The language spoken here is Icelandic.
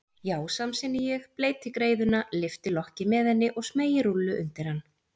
Já, samsinni ég, bleyti greiðuna, lyfti lokki með henni og smeygi rúllu undir hann.